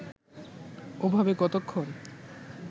ওভাবে কতক্ষণ